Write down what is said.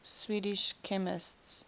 swedish chemists